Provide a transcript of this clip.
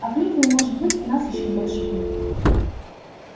а клюквы может быть у нас ещё больше будет